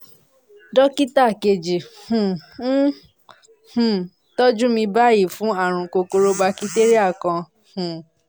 dókítà kejì um ń um tọ́jú mi báyìí fún ààrùn kòkòrò bakitéríà kan um